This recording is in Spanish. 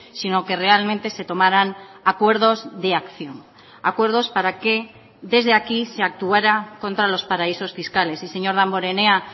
sino que realmente se tomaran acuerdos de acción acuerdos para que desde aquí se actuara contra los paraísos fiscales y señor damborenea